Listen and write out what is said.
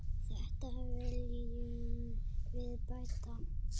Þetta viljum við bæta.